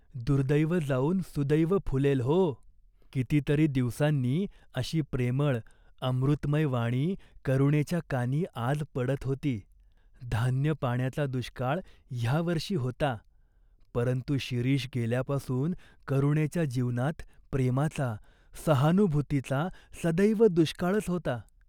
दुर्दैव जाऊन सुदैव फुलेल हो," किती तरी दिवसांनी अशी प्रेमळ, अमृतमय वाणी करुणेच्या कानी आज पडत होती. धान्यपाण्याचा दुष्काळ ह्या वर्षी होता, परंतु शिरीष गेल्यापासून करुणेच्या जीवनात प्रेमाचा, सहानुभूतीचा, सदैव दुष्काळच होता.